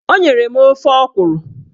O nyere m ofe ọkwụrụ